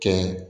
Kɛ